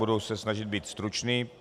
Budu se snažit být stručný.